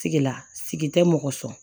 Sigi la sigi tɛ mɔgɔ sɔn